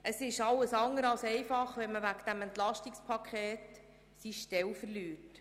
Es ist alles andere als einfach, wenn man wegen dieses EP seine Stelle verliert.